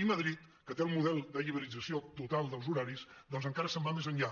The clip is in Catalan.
i madrid que té el model de lliberalització total dels horaris doncs encara se’n va més enllà